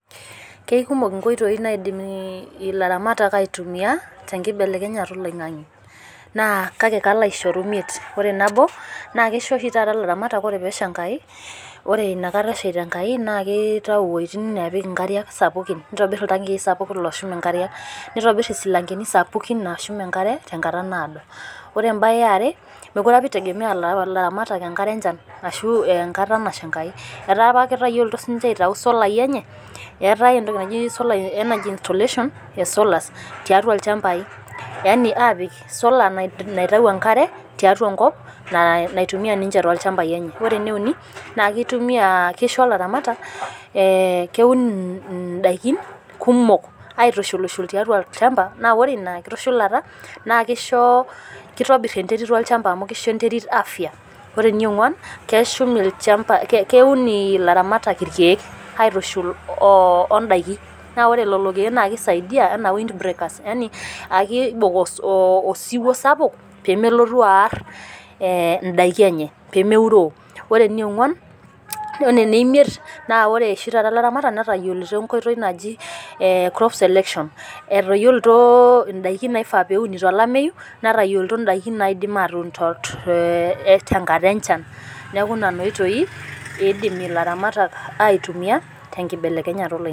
Keikumok inkoitoi naidim ilaramatak aitumiya tenkibelekenyata oloing'ang'e, naa kalo aishoru imiet. Naa ore nabo, naa keisho oshi ilaramatak naa ore pee esha Enkai, ore ina kata eshaita Enkai naa keitayu iwuejitin naapik inkariak sapukin, neitobir iltankii sapukin ooshum inkariak, neitobir isilankeni sapukin ooshum enkare tenkata naado. Ore ene are, mekue opa eitegemeya ilairamatak enkare enchan ashu enkata nasha Enkai, etaa apa ketayioloutuo sii ninche aitayu isolai enye, eatai entoki naji solar energy installation e solas, tiatua ilchambai, yani aitayu esola naitayu enkare tiatua enkop naitumiya ninche lenye. Ore ene uni, naa keisho ilairamatak, keun indaikin kumok aitushulshul tiatua olchamba naa ore ina kitushulata naa keitobir enterit olchamba amu keisho enterit afya. Ore ene ong'uan, keun ilairamatak ilkeek aitushul o indaiki naa ore lelo keek naa keisaidia anaa wind brakers, yani ekeibok osiwuo sapuk pee melotu aar indaiki enye, pemeuroo. Ore ene imiet, naa ore oshi taata ilairamatak netayioloutuo enkoitoi naji crop selection, etayiloutuo indaikin naishaa peeuni tolameyu, netayoloutuo indaikin naidim atuun tenkata enchan. Neaku nena oitoi eidim ilairamatak aitumiya tenkibelekenyatta oloing'ang'e.